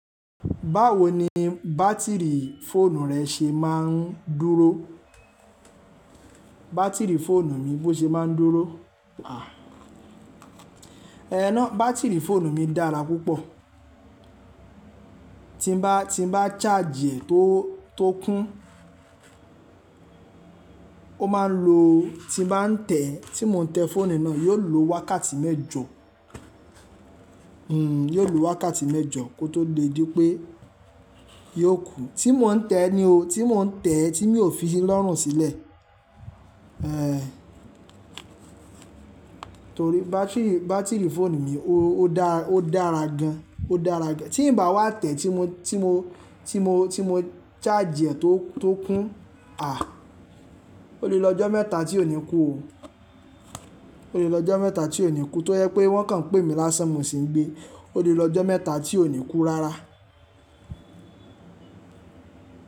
Báwo ni bátìrì fóònù rẹ ṣe máa ń dúró? Bátìrì fóònù mi bó ṣe máa ń dúró? Ẹn ná bátìrì fóònù mi dára púpọ̀. Tí n bá, tí n bá charge ẹ̀ tó, tó kún, ó máa ń lo, tí ń ba n tẹ̀ẹ́, tí mo ń tẹ́ fóònù náà, yóò lo wákàtí mẹ́jọ. Hmm, yóò lo wákàtí mẹ́jọ kó tó lè di pé yóò kú. Tí mo ń tẹ́ ni o, tí mo ń tẹ́ tí mi ò fi lọ́rùn sílẹ̀. Ẹn. Torí bátìrì, bátìrì fóònù mi ó dá, ó dára gan. Ó dára gan. Tí ń bà wá tẹ̀ tí mo, tí mo, tí mo, tí mo charge ẹ̀ tó, tó kún, àh, ó lè lo ọjọ́ mẹ́ta tí ò ní kú o. Ó lè lọ ọjọ́ mẹ́ta tí ò ní kú. Tó jẹ́ pé wọ́n kàn n pè mi lásán mo sì ń gbé. Ó lè lọ ọjọ́ mẹ́ta tí ò ní kú rárá.